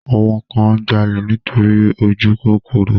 Àwọn kan ń jalè nítorí ojúkòkòrò